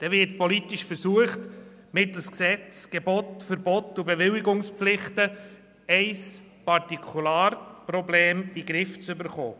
Es wird politisch versucht, mittels Geboten, Verboten und Bewilligungspflichten ein Partikularproblem in den Griff zu bekommen.